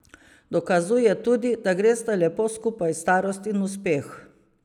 Dokazuje tudi, da gresta lepo skupaj starost in uspeh.